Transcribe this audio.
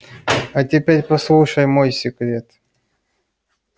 а теперь послушай мой секрет